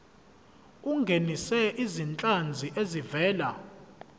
ungenise izinhlanzi ezivela